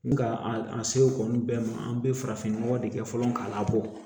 N ka an se o kɔni bɛɛ ma an bɛ farafin nɔgɔ de kɛ fɔlɔ k'a labɔ